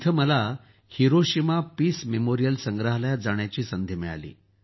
तेथे मला Hiroshima peace memorial संग्रहालयात जाण्याची संधी मिळाली